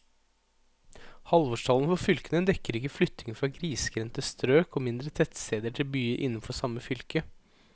Halvårstallene for fylkene dekker ikke flytting fra grisgrendte strøk og mindre tettsteder til byer innenfor samme fylke.